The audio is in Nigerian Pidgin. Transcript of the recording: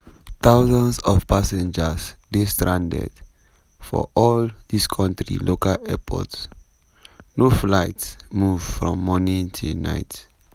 thousands of passengers dey stranded for all di kontri local airports – no flight move from morning till night.